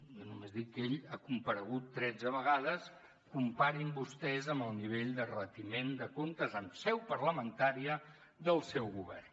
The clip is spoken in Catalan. jo només dic que ell ha comparegut tretze vegades comparin ho vostès amb el nivell de retiment de comptes en seu parlamentària del seu govern